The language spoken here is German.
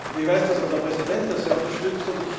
Ich weiß, dass unser Präsident das sehr unterstützt.